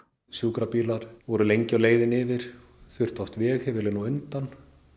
sjúkrabílar voru oft lengi á leiðinni yfir þurfti oft veghefilinn á undan